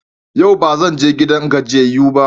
Yau ba zan je gidan gajiyayyu ba.